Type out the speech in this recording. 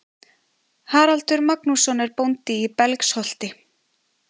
Haraldur Magnússon er bóndi í Belgsholti.